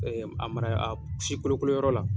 a mara a si kolokoloyɔrɔ la